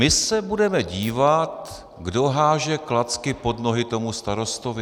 My se budeme dívat, kdo hází klacky pod nohy tomu starostovi.